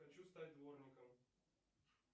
хочу стать дворником